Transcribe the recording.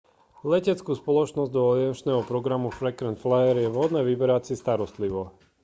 leteckú spoločnosť do aliančného programu frequent flyer je vhodné vyberať si starostlivo